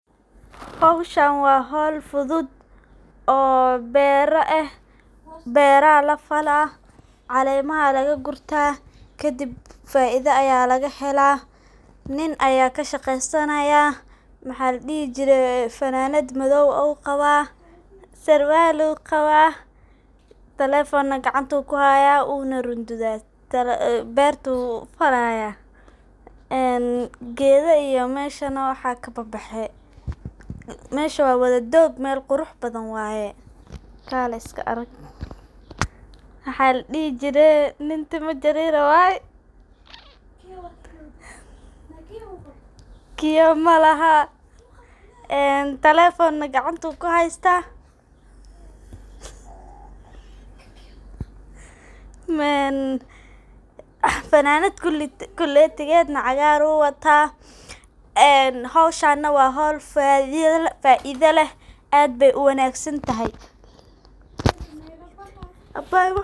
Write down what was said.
Hooshan wa hool futhut, oo beera eeh beera lafalah calema la kurtah kadib faitha Aya lagahelah nin Aya kashaqeesanaya maxaladehi jiray funanad mathow aah oo Qabah, siwaal ayu qabah talephone kacanta ayukuhaya wunarudutha beerta oo falaya ee Geetha meshan kababaxay mesha wa waladoog meel quruxbathan waye, kaleh iska arag waxaladehi jiray nin tima jarer waye kiyow malahan ee talephonka kacanta ayu kuhaystah ee fananat kuleetegetha cagaar ayu watah ee hooshan wa hool faitho leeh aad ba u wanagsantahay.